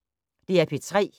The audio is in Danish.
DR P3